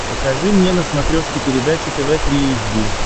покажи мне на смотрешке передачу тв три эйч ди